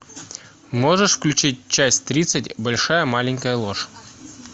можешь включить часть тридцать большая маленькая ложь